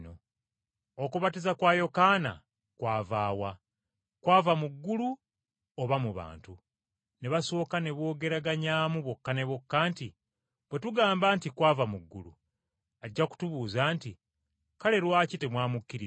Okubatiza kwa Yokaana kwava wa? Kwava mu ggulu oba mu bantu?” Ne basooka ne boogeraganyaamu bokka na bokka nti, “Bwe tugamba nti, ‘Kwava mu ggulu,’ ajja kutubuuza nti, ‘Kale lwaki temwamukkiriza?’